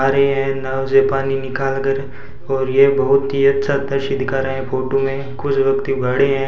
और यह नल से पानी निकाल कर और ये बहुत ही अच्छा दृश्य दिखा रहे हैं फोटो में कुछ व्यक्ति खड़े हैं।